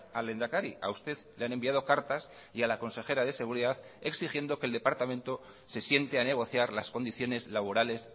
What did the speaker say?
al lehendakari a usted le han enviado cartas y a la consejera de seguridad exigiendo que el departamento se siente a negociar las condiciones laborales